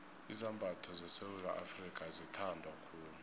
izambatho sesewula afrika azithandwa khulu